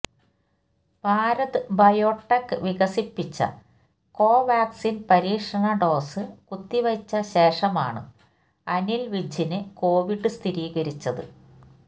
Bharat Biotech വികസിപ്പിച്ച Covaxin പരീക്ഷണ dose കുത്തിവെച്ച ശേഷമാണ് അനിൽ വിജ്ജിന് കോവിഡ് സ്ഥിരീകരിച്ചത്